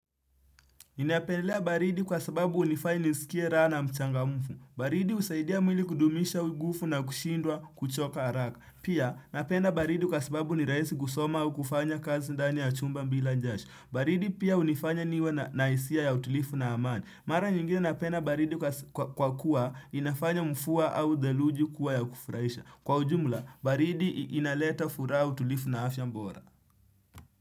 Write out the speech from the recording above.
Ninapendelea baridi kwa sababu hunifanya nisikie raha na mchangamfu. Baridi husaidia mwili kudumisha nguvu na kushindwa kuchoka haraka. Pia napenda baridi kwa sababu ni rahisi kusoma au kufanya kazi ndani ya chumba bila jasho. Baridi pia hunifanya niwe na hisia ya utulivu na amani. Mara nyingine napenda baridi kwa kuwa inafanya mvua au theluji kuwa ya kufurahisha. Kwa ujumula, baridi inaleta furaha, utulivu na afya bora.